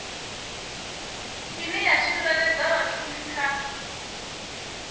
ine ya tsireledza vhashumi kha